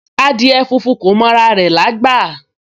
Adìẹ funfun kò mọ ara rẹ̀ lágbà